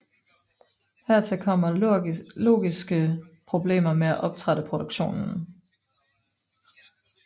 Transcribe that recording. Hertil kommer logistiske problemer med at optrappe produktionen